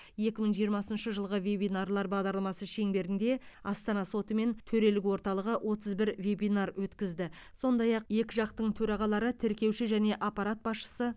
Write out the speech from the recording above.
екі мың жиырмасыншы жылғы вебинарлар бағдарламасы шеңберінде астана соты мен төрелік орталығы отыз бір вебинар өткізді сондай ақ екі жақтың төрағалары тіркеуші және аппарат басшысы